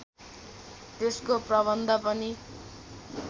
त्यसको प्रबन्ध पनि